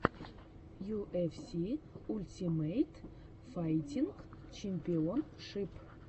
ю эф си ультимейт файтинг чемпионшип